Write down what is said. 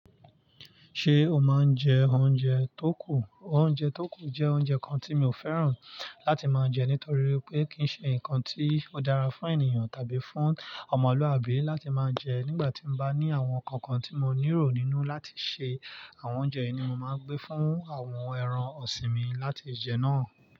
Ṣé o máa ń jẹ oúnjẹ tó kù? Oúnjẹ tó kù jẹ́ oúnjẹ kan tí mi ò fẹ́ràn láti máa jẹ nítorí pé kì í ṣe nǹkan tí ó dára fún ènìyàn tàbí fún ọmọlúàbí láti máa jẹ. Nígbà tí mo bá ní àwọn nǹkan kan tí mo ní ero nínú láti ṣe àwọn oúnjẹ yìí ni mo máa gbé fún àwọn ẹran ọ̀sìn mi láti jẹ náà.